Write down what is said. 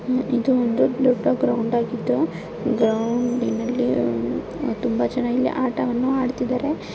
ಇದು ಒಂದು ದೊಡ್ಡ ಗ್ರೌಂಡ್ ಆಗಿದ್ದು ಗ್ರೌಂಡ್ ನಲ್ಲಿ ತುಂಬಾ ಚೆನ್ನಾಗಿದೆ ಆಟವನ್ನು ಆಡುತ್ತಿದ್ದಾರೆ.